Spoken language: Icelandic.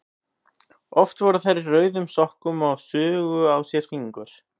Oft voru þær í rauðum sokkum og sugu á sér fingur.